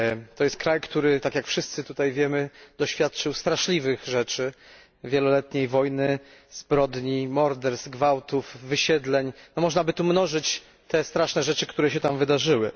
To jest kraj, który tak jak wszyscy tutaj wiemy doświadczył straszliwych rzeczy wieloletniej wojny, zbrodni, morderstw, gwałtów, wysiedleń, no można by tu mnożyć te straszne rzeczy, które się tam wydarzyły.